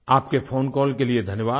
आपके phone call के लिए धन्यवाद